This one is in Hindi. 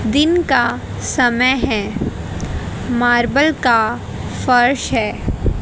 दिन का समय है मार्बेल मार्बल का फर्श है।